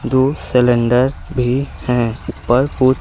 दो सिलेंडर भी हैं। ऊपर कुछ --